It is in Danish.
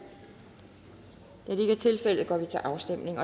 da det tilfældet går vi til afstemning